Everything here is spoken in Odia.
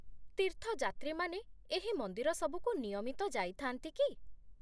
ତୀର୍ଥଯାତ୍ରୀମାନେ ଏହି ମନ୍ଦିର ସବୁକୁ ନିୟମିତ ଯାଇଥାନ୍ତି କି?